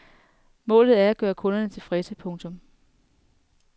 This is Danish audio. Målet er at gøre kunderne tilfredse. punktum